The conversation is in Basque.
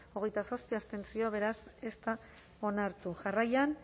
hogeita zazpi abstentzio beraz ez da onartu jarraian